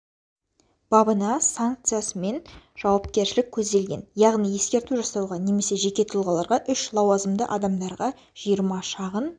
бабының санкциясымен жауапкершілік көзделген яғни ескерту жасауға немесе жеке тұлғаларға үш лауазымды адамдарға жиырма шағын